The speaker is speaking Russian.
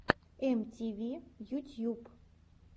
эм ти ви ютьюб